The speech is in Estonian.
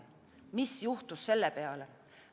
Mis juhtus selle peale?